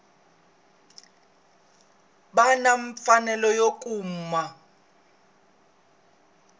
va na mfanelo yo kuma